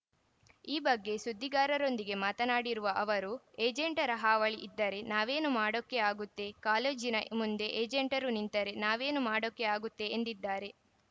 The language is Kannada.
ಈ ಬಗ್ಗೆ ಸುದ್ದಿಗಾರರೊಂದಿಗೆ ಮಾತನಾಡಿರುವ ಅವರು ಏಜೆಂಟರ ಹಾವಳಿ ಇದ್ದರೆ ನಾವೇನು ಮಾಡೋಕ್ಕೆ ಆಗುತ್ತೆ ಕಾಲೇಜಿನ ಮುಂದೆ ಏಜೆಂಟರು ನಿಂತರೆ ನಾವೇನು ಮಾಡೋಕ್ಕೆ ಆಗುತ್ತೆ ಎಂದಿದ್ದಾರೆ